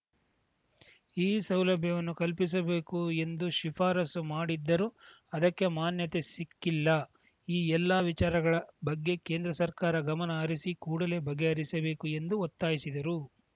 ಈ ಸೌಲಭ್ಯವನ್ನು ಕಲ್ಪಿಸಬೇಕು ಎಂದು ಶಿಫಾರಸು ಮಾಡಿದ್ದರೂ ಅದಕ್ಕೆ ಮಾನ್ಯತೆ ಸಿಕ್ಕಿಲ್ಲ ಈ ಎಲ್ಲಾ ವಿಚಾರಗಳ ಬಗ್ಗೆ ಕೇಂದ್ರ ಸರ್ಕಾರ ಗಮನ ಹರಿಸಿ ಕೂಡಲೇ ಬಗೆಹರಿಸಬೇಕು ಎಂದು ಒತ್ತಾಯಿಸಿದರು